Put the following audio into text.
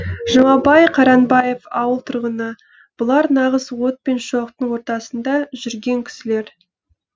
жұмабай қайранбаев ауыл тұрғыны бұлар нағыз от пен шоқтың ортасында жүрген кісілер